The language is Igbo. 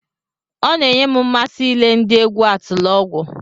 Ọ na-enye m mmasị ile ndị egwu Atilọgwụ.